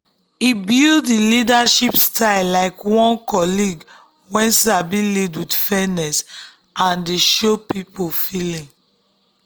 e build him leadership style like one colleague wey sabi lead with fairness and dey show people feeling.